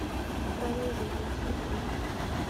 правила жизни телефон